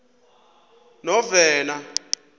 novena